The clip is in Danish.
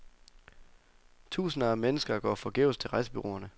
Tusinder af mennesker går forgæves til rejsebureauerne.